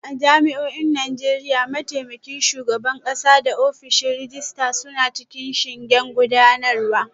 A jami'o'in Najeriya, mataimakin shugaban kasa da ofishin rejista suna cikin shingen gudanarwa